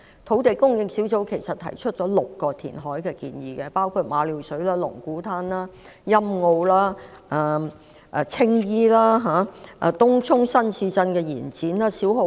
土地供應專責小組其實提出了6項填海建議，包括馬料水、龍鼓灘、欣澳、青衣、東涌新市鎮的延展及小蠔灣。